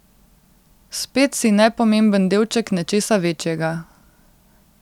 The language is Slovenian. Spet si nepomemben delček nečesa večjega.